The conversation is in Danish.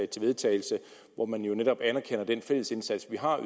til vedtagelse hvor man netop anerkender den fælles indsats vi har